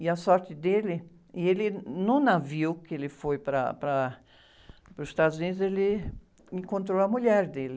E a sorte dele... E ele, no navio que ele foi para, para, para os Estados Unidos, ele encontrou a mulher dele.